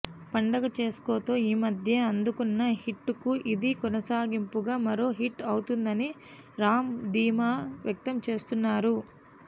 పండగ చేస్కోతో ఈమధ్యే అందుకున్న హిట్కు ఇది కొనసాగింపుగా మరో హిట్ అవుతుందని రామ్ ధీమా వ్యక్తం చేస్తున్నారు